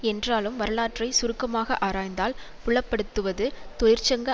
என்றாலும் வரலாற்றை சுருக்கமாக ஆராய்ந்தால் புலப்படுத்துவது தொழிற்சங்க